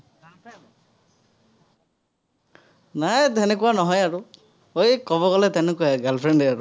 নাই, তেনেকুৱা নহয় আৰু। এই ক'ব গলে তেনেকুৱাই girl friend য়েই আৰু